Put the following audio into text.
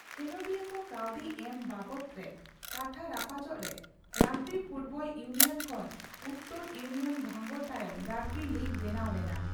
ᱠᱷᱮᱞᱚᱰᱤᱭᱟᱹ ᱠᱚ ᱠᱟᱹᱣᱰᱤ ᱮᱢ ᱵᱟᱵᱚᱛ ᱨᱮ ᱠᱟᱛᱷᱟ ᱨᱟᱯᱟᱪᱟᱜ ᱨᱮ ᱨᱟᱜᱽᱵᱤ ᱯᱷᱩᱴᱵᱚᱞ ᱤᱭᱩᱱᱤᱭᱚᱱ ᱠᱷᱚᱱ ᱩᱛᱛᱚᱨ ᱤᱭᱤᱩᱱᱤᱭᱚᱱ ᱵᱷᱟᱸᱜᱚᱲ ᱛᱟᱭᱚᱢ ᱨᱟᱜᱽᱵᱤ ᱞᱤᱜᱽ ᱵᱮᱱᱟᱣ ᱞᱮᱱᱟ ᱾